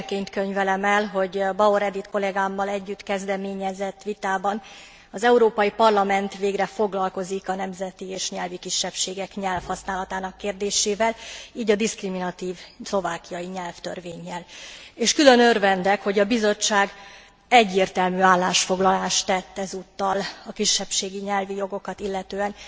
Sikerként könyvelem el, hogy Bauer Edit kollegámmal együtt kezdeményezett vitában az Európai Parlament végre foglalkozik a nemzeti és nyelvi kisebbségek nyelvhasználatának kérdésével, így a diszkriminatív szlovákiai nyelvtörvénnyel. És külön örvendek, hogy a Bizottság egyértelmű állásfoglalást tett ezúttal a kisebbségi nyelvi jogokat illetően.